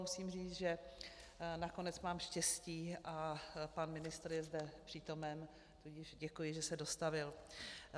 Musím říct, že nakonec mám štěstí a pan ministr je zde přítomen, tudíž děkuji, že se dostavil.